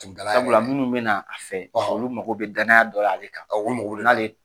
Sabula minnu bɛna a fɛ olu mako bɛ danya dɔ la ale kan ka awƆ